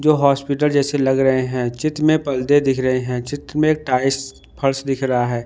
जो हॉस्पिटल जैसे लग रहे हैं चित्र में पर्दे दिख रहे हैं चित्र में एक टाइल्स फर्श दिख रहा है।